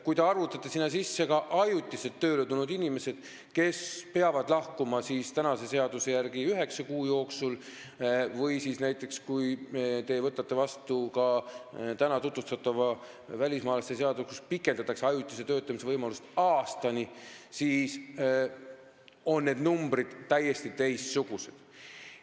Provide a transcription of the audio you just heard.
Kui te arvutate sinna sisse ka ajutiselt tööle tulnud inimesed, kes peavad kehtiva seaduse järgi lahkuma üheksa kuu jooksul ja kelle ajutise töötamise võimalust pikendatakse aastani siis, kui te võtate vastu täna tutvustatava välismaalaste seaduse, siis on need numbrid täiesti teistsugused.